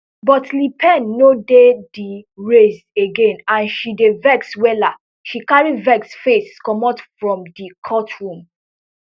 but le pen no dey di race again and she dey vex wella she carry vex face commot from di courtroom